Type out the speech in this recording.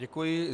Děkuji.